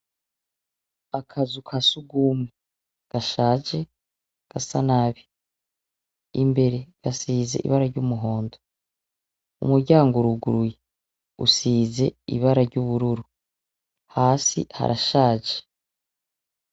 Akazu uka sugume, gashaje , gasa nabi imbere gasize ibara ry'umuhondo, umuryango uruguruye usize ibara ry'ubururu hasi harashaje.